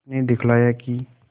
उसने दिखलाया कि